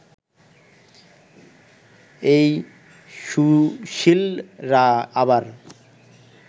এই সুশীলরা আবার